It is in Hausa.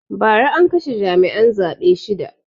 Ba ra an kashe jami'an zaɓe shida